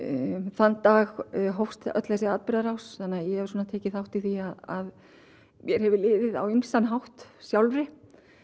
þann dag hófst öll þessi atburðarrás þannig að ég hef tekið þátt í því að mér hefur liðið á ýmsan hátt sjálfri